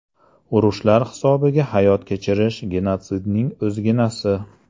Urushlar hisobiga hayot kechirish genotsidning o‘zginasi.